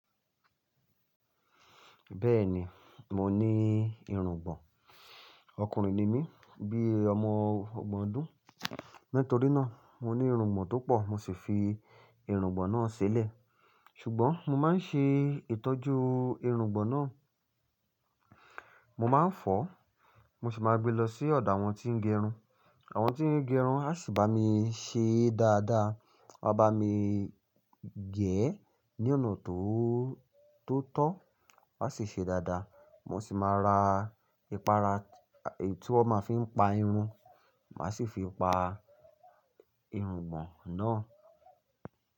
Bẹ́ẹ̀ni, mo ní irùngbọ̀n. Ọkùnrin ni mí, bí ọmọ ọgbọ̀n ọdún. Nítorí náà, mo ní irùngbọ̀n tó pọ̀. Mo sì fi irùngbọ̀n náà sílẹ̀. Ṣùgbọ́n mo máa ń ṣe ìtọ́jú irùngbọ̀n náà. Mo máa ń fọ́, mo sì máa gbé lọ sí ọ̀dọ àwọn tí ń gẹrun. Àwọn tí ń gẹrun a sì bá mi ṣe dáadáa. Wọ́n á bá mi gẹ̀ ẹ́ ní ọ̀nà tó, tó tọ́, wọ́n á sì ṣe dáadáa. Mo sì máa ra ìpara, èyí tí wọ́n máa fi n pa irun, màá sì fi pa irùngbọ̀n náà.